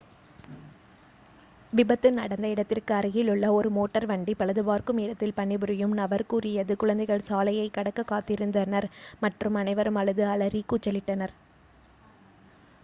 "விபத்து நடந்த இடத்திற்கு அருகிலுள்ள ஒரு மோட்டார் வண்டி பழுது பார்க்கும் இடத்தில் பணிபுரியும் நபர் கூறியது "குழந்தைகள் சாலையைக் கடக்க காத்திருந்தினர் மற்றும் அனைவரும் அழுது அலறி கூச்சலிட்டனர்"".